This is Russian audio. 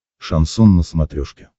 шансон на смотрешке